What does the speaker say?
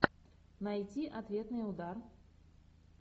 найти ответный удар